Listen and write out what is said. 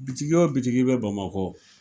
Bitigi wo bitigi bɛ bamakɔ.